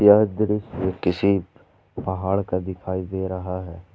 यह दृश्य किसी पहाड़ का दिखाई दे रहा है।